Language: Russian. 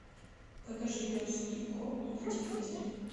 покажи пес и ко на телевизоре